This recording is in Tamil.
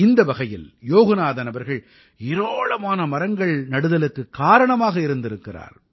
இந்த வகையில் யோகநாதன் அவர்கள் ஏராளமான மரங்கள் நடுதலுக்குக் காரணமாக இருந்திருக்கிறார்